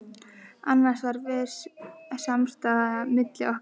Annars var viss samstaða milli okkar